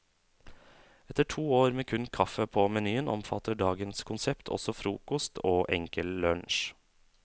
Etter to år med kun kaffe på menyen, omfatter dagens konsept også frokost og enkel lunsj.